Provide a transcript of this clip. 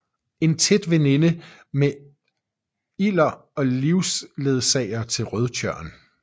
En tæt veninde med Ilder og livsledsager til Rødtjørn